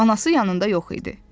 Anası yanında yox idi.